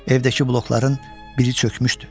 Evdəki blokların biri çökmüşdü.